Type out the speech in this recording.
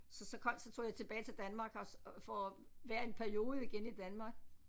Så så kom så tog jeg tilbage til Danmark og så for at være en periode igen i Danmark